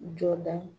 Jɔda